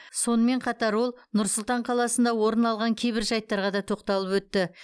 сонымен қатар ол нұр сұлтан қаласында орын алған кейбір жайттарға да тоқталып өтті